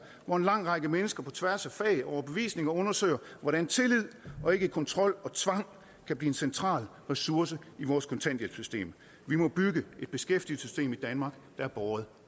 hvor en lang række mennesker på tværs af fag og overbevisning undersøger hvordan tillid og ikke kontrol og tvang kan blive en central ressource i vores kontanthjælpssystem vi må bygge et beskæftigelsessystem i danmark der er båret